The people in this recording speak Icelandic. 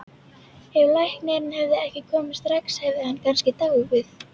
Ef læknirinn hefði ekki komið strax hefði hann kannski dáið